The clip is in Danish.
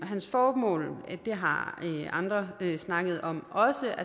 hans formål har andre snakket om også